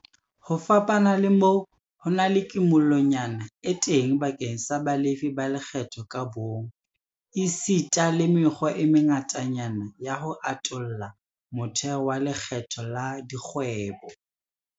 Ho fapana le moo, ho na le kimollonyana e teng bakeng sa balefi ba lekgetho ka bomong, esita le mekgwa e mengatanyana ya ho atolla motheo wa lekgetho la dikgwebo.